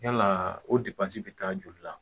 Yala o bɛ taa joli la